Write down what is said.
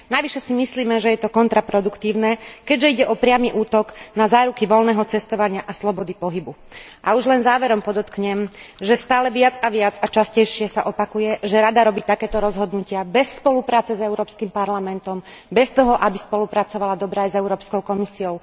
Navyše si myslíme, že je to kontraproduktívne, keďže ide o priamy útok na záruky voľného cestovania a slobody pohybu. A už len záverom podotknem, že stále viac a viac a častejšie sa opakuje, že Rada robí takéto rozhodnutia bez spolupráce s Európskym parlamentom, bez toho aby spolupracovala dobre aj s Európskou komisiou.